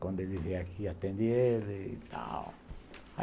Quando ele vier aqui, atende ele e tal.